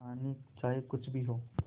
कहानी चाहे कुछ भी हो